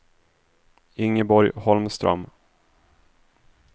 Ingeborg Holmström